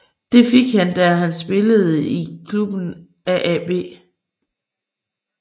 Det fik han der han spillede i klubben Aab